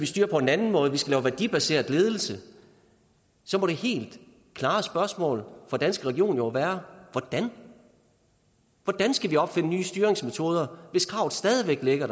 styre på en anden måde lave værdibaseret ledelse så må det helt klare spørgsmål fra danske regioner jo være hvordan skal vi opfinde nye styringsmetoder hvis kravet stadig væk er